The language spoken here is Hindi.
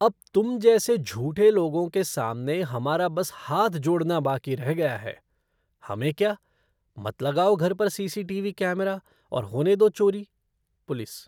अब तुम जैसे झूठे लोगों के सामने हमारा बस हाथ जोड़ना बाकी रह गया है, हमें क्या, मत लगाओ घर पर C C T V camera और होने दो चोरी। पुलिस